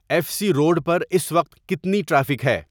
F C road پر اس وقت کتنی ٹریفک ہے